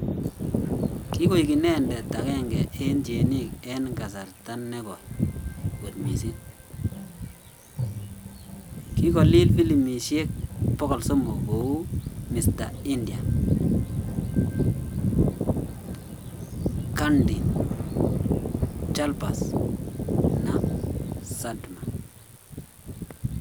Kigoik inenedet aenege en tienik en kasarta negoi kot missing kigolil Filimishek 300 kou Mr India, Chandni, ChaalBaaz na Sadma